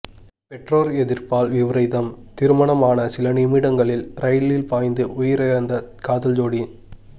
பெற்றோர் எதிர்ப்பால் விபரீதம் திருமணம் ஆன சில நிமிடங்களில் ரயிலில் பாய்ந்து உயிரிழந்த காதல் ஜோடி